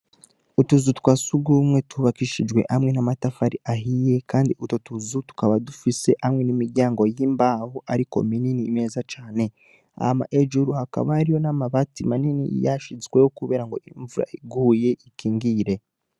Utuzu twa surwumwe twubakishijwe hamwe n'amatafari ahiye kandi utwo tuzu tukaba dufise hamwe imiryango y'imbaho ariko minini meza cane. Hama hejuru hakaba hariho n'amabati manini yashizweho kubera ngo imvura iguye ikingire.